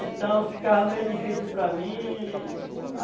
Então ficava meio difícil para mim.